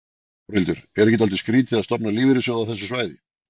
Þórhildur: Er ekki dálítið skrítið að stofna lífeyrissjóð á þessu svæði?